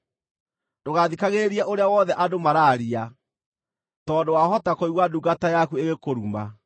Ndũgathikagĩrĩrie ũrĩa wothe andũ maraaria, tondũ wahota kũigua ndungata yaku ĩgĩkũruma: